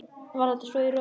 Var þetta svo í raun?